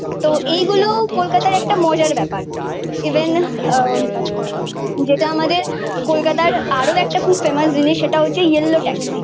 তো এইগুলো কলকাতার একটা মজার ব্যাপার। ইভেন আহ যেটা আমাদের কলকাতার আরও একটা খুব ফেমাস জিনিস সেটা হচ্ছে ইয়েলো ট্যাক্সি।